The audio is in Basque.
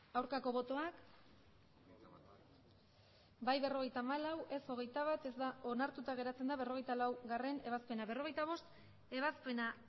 aurkako botoak emandako botoak hirurogeita hamabost bai berrogeita hamalau ez hogeita bat onartuta geratzen da berrogeita laugarrena ebazpena berrogeita bostgarrena ebazpena